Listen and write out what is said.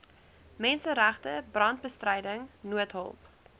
menseregte brandbestryding noodhulp